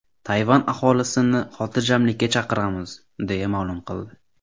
Tayvan aholisini xotirjamlikka chaqiramiz”, deya ma’lum qildi.